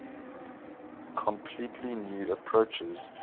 completely new approaches